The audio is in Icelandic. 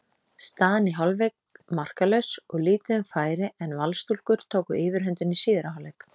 Staðan í hálfleik markalaus og lítið um færi en Valsstúlkur tóku yfirhöndina í síðari hálfleik.